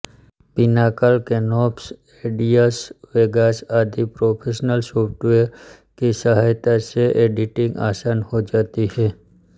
Pinnacle Canopus Edius Vegas आदि professional software की सहाय्ता से एडिटिंग आसान हो जाती है